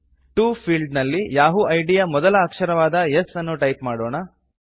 to field ನಲ್ಲಿ Yahoo ID ಯ ಮೊದಲ ಅಕ್ಷರವಾದ S ಅನ್ನು ಟೈಪ್ ಮಾಡೋಣ